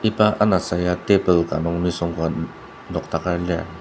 iba anasa ya table ka nung nisung ka nokdaker lir.